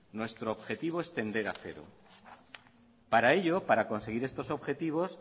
nuestro objetivo es tender a cero para ello para conseguir estos objetivos